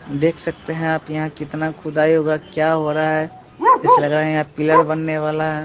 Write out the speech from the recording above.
देख सकते हैं आप यहाँ कितना खुदाई हुआ क्या हो रहा है। जैसा लग रहा है यहाँ बननेवाला --